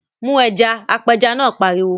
Mu ẹja! Apẹja náà pariwo.